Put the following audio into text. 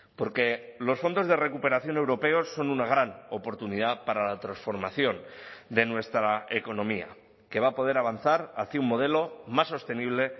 porque los fondos de recuperación europeos son una gran oportunidad para la transformación de nuestra economía que va a poder avanzar hacia un modelo más sostenible